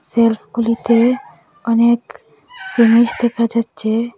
শেলফগুলিতে অনেক জিনিস দেখা যাচ্ছে।